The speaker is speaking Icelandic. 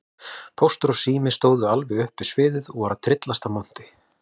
Póstur og Sími stóðu alveg upp við sviðið og voru að tryllast af monti.